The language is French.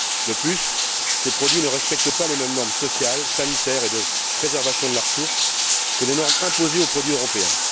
De plus, ces produits ne respectent pas les mêmes normes sociales, sanitaires et de préservation de la ressource que les normes imposées aux produits européens.